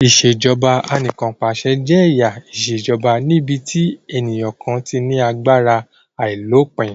Ìṣèjoba Anìkànpàṣẹ jẹ́ ẹ̀yà ìṣèjoba níbi tí ènìyàn kan ti ní agbára àìlópin